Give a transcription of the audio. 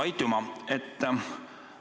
Aitüma!